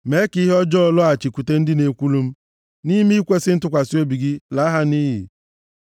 Mee ka ihe ọjọọ lọghachikwute ndị na-ekwulu m; nʼime ikwesi ntụkwasị obi gị, laa ha nʼiyi.